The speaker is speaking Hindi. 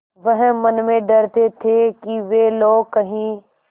वह मन में डरते थे कि वे लोग कहीं